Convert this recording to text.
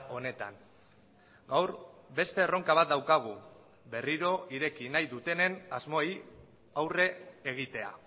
honetan gaur beste erronka bat daukagu berriro ireki nahi dutenen asmoei aurre egitea